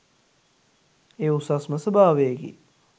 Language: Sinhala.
එය උසස්ම ස්වභාවයකි.